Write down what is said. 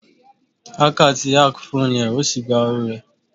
Hacker ti ákì fóònù rẹ ó sì gba owó rẹ.